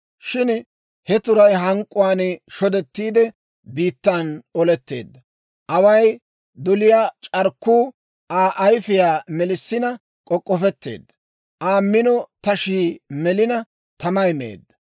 Shin he turay hank'k'uwaan shodettiide, biittan oletteedda. Away doliyaa c'arkkuu Aa ayifiyaa melissina k'ok'ofetteedda; Aa mino tashii melina, tamay meedda.